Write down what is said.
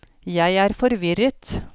jeg er forvirret